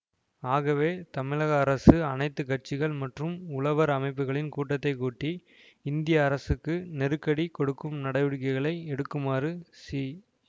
ஆகவே தமிழக அரசு அனைத்து கட்சிகள் மற்றும் உழவர் அமைப்புகளின் கூட்டத்தை கூட்டி இந்திய அரசுக்கு நெருக்கடி கொடுக்கும் நடவடிக்கைகளை எடுக்குமாறு சி